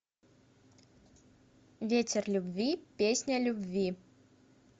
ветер любви песня любви